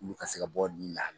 Olu ka se ka bɔ la